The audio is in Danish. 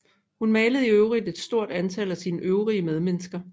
Hun malede i øvrigt et stort antal af sine øvrige medmennesker